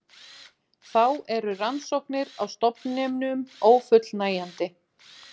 Þá eru rannsóknir á stofninum ófullnægjandi